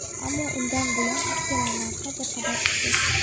Ammo undan buyon aksiyalar narxi bir qadar tushdi.